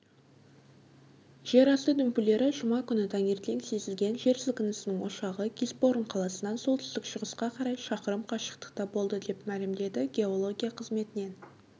жерасты дүмпулері жұма күні таңертең сезілген жер сілкінісінің ошағы гисборн қаласынан солтүстік-шығысқа қарай шақырым қашықтықта болды деп мәлімдеді геология қызметінен